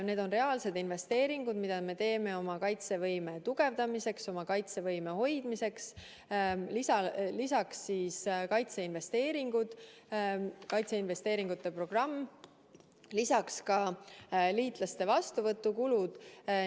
Need on reaalsed investeeringud, mida me teeme oma kaitsevõime tugevdamiseks, oma kaitsevõime hoidmiseks, lisaks kaitseinvesteeringud, kaitseinvesteeringute programm, lisaks ka liitlaste vastuvõtu kulud.